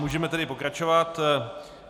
Můžeme tedy pokračovat.